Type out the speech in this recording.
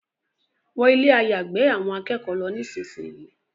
Wọnú Ilé àyágbé àwọn akẹ́kọ̀ọ́ ló nísìsiyìí!